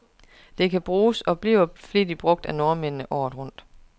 Det kan bruges, og bliver flittigt brug af nordmændene, året rundt.